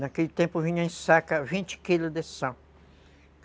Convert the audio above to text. Naquele tempo vinha em saca vinte quilos de sal.